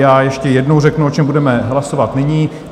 Já ještě jednou řeknu, o čem budeme hlasovat nyní.